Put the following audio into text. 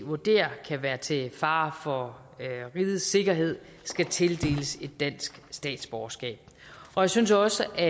vurderer kan være til fare for rigets sikkerhed skal tildeles et dansk statsborgerskab og jeg synes også at